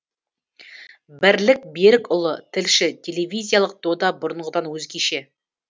бірлік берікұлы тілші телевизиялық дода бұрынғыдан өзгеше